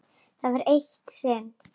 Það var eitt sinn.